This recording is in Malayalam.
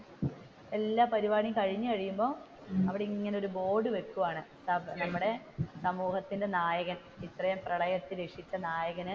എല്ലാ പരിപാടിയും കഴിഞ്ഞു കഴിയുമ്പോൾ അവിടെ ഇങ്ങനെ ഒരു ബോർഡ് വെക്കുവാണ് നമ്മുടെ സമൂഹത്തിന്റെ നായകൻ ഇത്രേം പ്രളയം ഒക്കെ രക്ഷിച്ച നായകൻ,